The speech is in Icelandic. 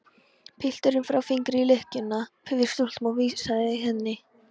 Pilturinn brá fingri í lykkjuna við stútinn og vingsaði henni.